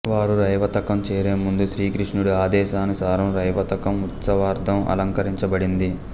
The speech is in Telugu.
వారు రైవతకం చేరే ముందు శ్రీకృష్ణుడి ఆదేశానుసారం రైవతకం ఉత్సవార్థం అలంకరించబడింది